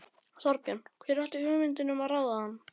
Þorbjörn: Hver átti hugmyndina um að ráða hann?